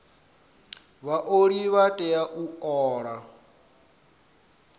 vhaoli vha tea u ola